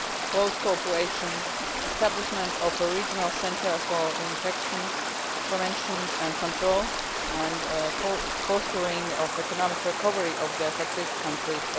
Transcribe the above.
close cooperation, establishment of a regional centre for infections, preventions and control and the fostering of the economic recovery of affected countries.